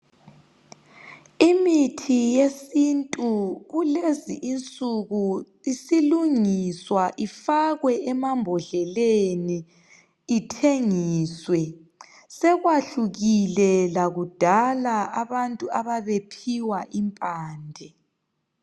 imithi yesintu kulezi insuku isilungiswa ifakwe emambodleleni ithengiswe sekwahlukile lakudala abantuababephiwa impande